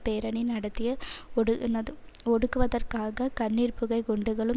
பேரணி நடத்திய ஒடு ஒடுக்குவதற்காக கண்ணீர்புகை குண்டுகளும்